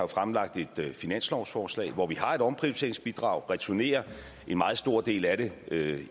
har et finanslovsforslag hvor vi har et omprioriteringsbidrag returnerer en meget stor del af det